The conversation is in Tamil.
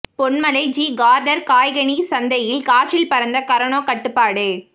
பொன்மலை ஜி காா்னா் காய்கனிச் சந்தையில் காற்றில் பறந்த கரோனா கட்டுப்பாடு